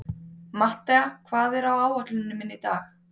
Mattea, hvað er á áætluninni minni í dag?